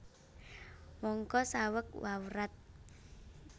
Mangka saweg wawrat